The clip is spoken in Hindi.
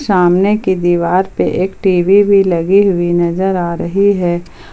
सामने की दीवार पे एक टी_वी भी लगी हुई नजर आ रही हैं।